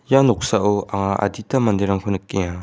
ia noksao anga adita manderangko nikenga.